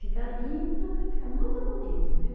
Fica lindo, fica muito bonito, viu?